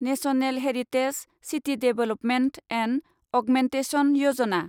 national heritage city development and augmentation Yojana